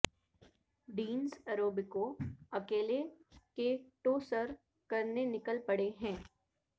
Dennis Urubko اکیلے K two سر کرنے نکل پڑے ہیں